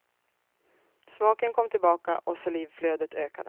Smaken kom tillbaka och salivflödet ökade.